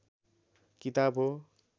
किताब हो